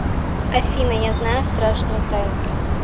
афина я знаю страшную тайну